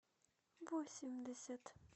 восемьдесят